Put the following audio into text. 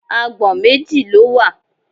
Agbọ̀n méjì ló wà.